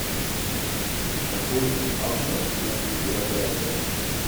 какой автор у биография